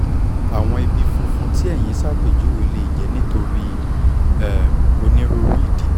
àwọn ibi funfun tí ẹ̀yin ṣàpèjúwe lè jẹ́ nítorí um onírúurú ìdí